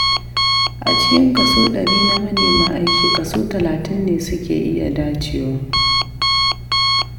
A cikin kaso ɗari na manema aiki kaso talatin ne suke iya dacewa.